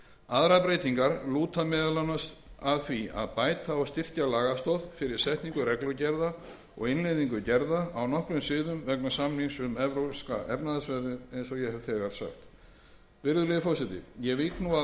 aðrar breytingar lúta meðal annars að því að bæta og styrkja lagastoð fyrir setningu reglugerða og innleiðingu gerða á nokkrum sviðum vegna samningsins um evrópska efnahagssvæðið eins og ég hef þegar sagt virðulegur forseti ég vík nú